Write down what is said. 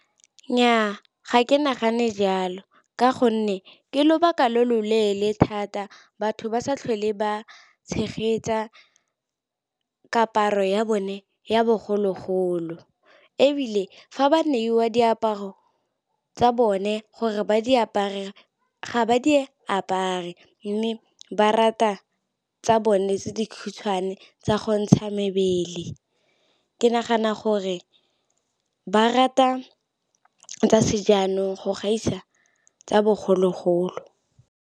Nnyaa, ga ke nagane jalo. Ka gonne ke lobaka lo loleele thata batho ba sa tlhole ba tshegetsa kaparo ya bone ya bogologolo. Ebile fa ba neiwa diaparo tsa bone gore ba di apare, ga ba di e apare. Mme ba rata tsa bone tse dikgutshwane tsa go ntsha mebele. Ke nagana gore ba rata tsa sejanong go gaisa tsa bogologolo.